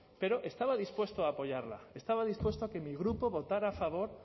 pero estaba dispuesto a apoyarla estaba dispuesto a que mi grupo votará a favor